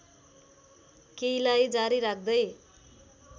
केहीलाई जारी राख्दै